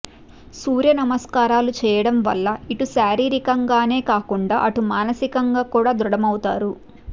సూర్యనమస్కారాలు చేయడం వల్ల ఇటు శారీరకంగానే కాకుండా అటు మానసికంగా కూడా దృఢమవుతారు